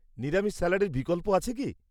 নিরামিষ স্যালাডের বিকল্প আছে কি?